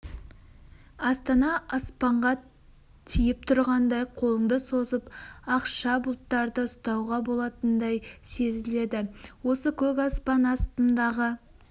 астана аспанға тиіп тұрғандай қолыңды созып ақша бұлттарды ұстауға болатындай сезіледі осы көк аспан астындағы